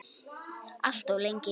Alltof lengi.